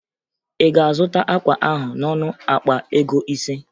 Ị ga-azụta akwa ahụ n'ọnụ akpa ego ise?